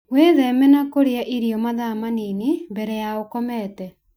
Wĩtheme na kũrĩa irio mathaa manini mbere ya ũkomete.